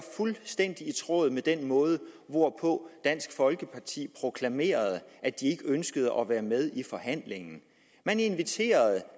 fuldstændig i tråd med den måde hvorpå dansk folkeparti proklamerede at de ikke ønskede at være med i forhandlingen man inviterede